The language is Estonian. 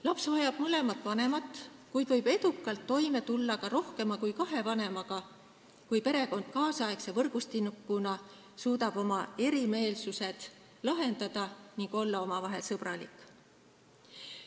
Laps vajab mõlemat vanemat, kuid võib edukalt toime tulla ka rohkema kui kahe vanemaga, kui perekond tänapäevase võrgustikuna suudab oma erimeelsused lahendada ning kõik on omavahel sõbralikud.